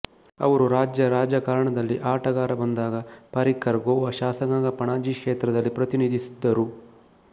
ಅವರು ರಾಜ್ಯ ರಾಜಕಾರಣದಲ್ಲಿ ಆಟಗಾರ ಬಂದಾಗ ಪಾರಿಕ್ಕರ್ ಗೋವಾ ಶಾಸಕಾಂಗ ಪಣಜಿ ಕ್ಷೇತ್ರದ ಪ್ರತಿನಿಧಿಸಿದ್ದರು